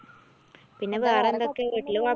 പിന്നെ വേറൊന്തൊക്കയാ വീട്ടില് വർ